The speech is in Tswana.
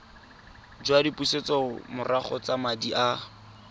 jwa dipusetsomorago tsa madi a